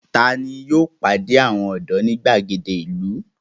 Ta ni yóò pàdé àwọn ọ̀dọ́ ní ìgbàgede ìlú?